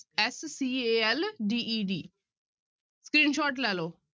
S C A L D E D screenshot ਲੈ ਲਓ